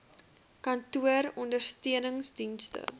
kantoor ondersteunings dienste